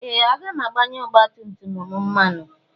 Ee! Aga m agbanye ọgbatumtum m mmanụ.